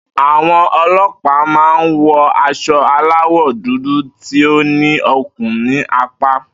Àwo̩n o̩lo̩pàá máa ń wo̩ as̩o̩ aláwò̩ dúdú tí ó ní okùn ní apá